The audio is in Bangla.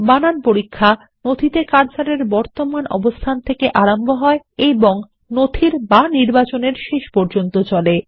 স্পেল চেক কার্সর এর বর্তমান অবস্থান থেকে আরম্ভ হয় এবং নথির অথবা নির্বাচন এর শেষ পর্যন্ত চলে